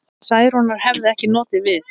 Særúnar hefði ekki notið við.